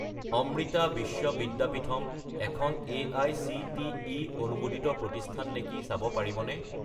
অমৃতা বিশ্ব বিদ্যাপীথম এখন এআইচিটিই অনুমোদিত প্ৰতিষ্ঠান নেকি চাব পাৰিবনে?